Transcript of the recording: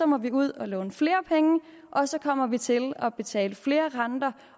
må vi ud og låne flere penge og så kommer vi til at betale flere renter